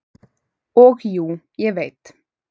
"""Og jú, ég veit."""